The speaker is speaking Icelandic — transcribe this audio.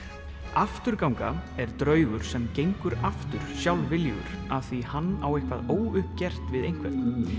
afturganga er draugur sem gengur aftur sjálfviljugur af því hann á eitthvað óuppgert við einhvern